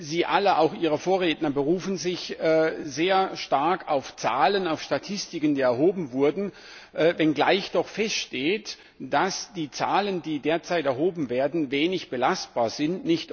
Sie alle auch Ihre Vorredner berufen sich sehr stark auf Zahlen, auf Statistiken, die erhoben wurden, wenngleich doch feststeht, dass die Zahlen, die derzeit erhoben werden, wenig belastbar sind.